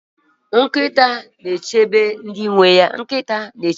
nkịta na-echebe ndị nwe ha